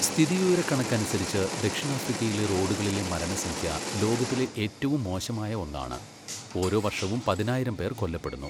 സ്ഥിതിവിവരക്കണക്കനുസരിച്ച് ദക്ഷിണാഫ്രിക്കയിലെ റോഡുകളിലെ മരണസംഖ്യ ലോകത്തിലെ ഏറ്റവും മോശമായ ഒന്നാണ്, ഓരോ വർഷവും പതിനായിരം പേർ കൊല്ലപ്പെടുന്നു.